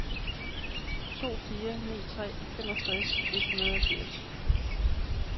to fire ni tre femogtres et hundrede og firs